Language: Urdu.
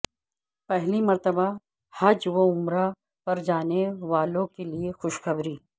پہلی مرتبہ حج وعمرہ پر جانے والوں کے لئے خوشخبری